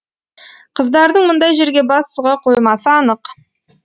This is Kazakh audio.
қыздардың мұндай жерге бас сұға қоймасы анық